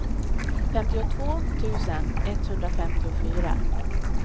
femtiotvå tusen etthundrafemtiofyra